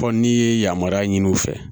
Fɔ n'i ye yamaruya ɲini u fɛ